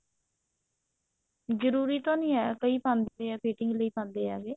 ਜਰੂਰੀ ਤਾਂ ਨਹੀ ਹੈ ਕਈ ਪਾਉਂਦੇ ਆ fitting ਲਈ ਪਾਉਂਦੇ ਹੈਗੇ